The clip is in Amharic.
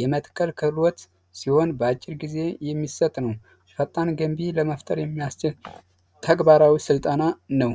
የመትከል ክህሎት ሲሆን በአጭር ጊዜ ለመፍጠር የሚያስችል ተግባራዊ ስልጠና ነው